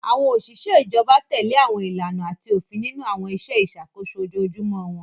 Àwọn òṣìṣẹ́ ìjọba tẹ̀lé àwọn ìlànà àti òfin nínú àwọn iṣẹ́ ìṣàkóso ojoojúmọ́ wọn.